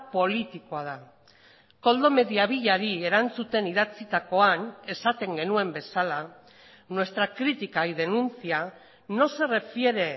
politikoa da koldo mediavillari erantzuten idatzitakoan esaten genuen bezala nuestra crítica y denuncia no se refiere